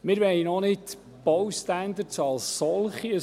Wir wollen nicht Baustandards als solche hinterfragen;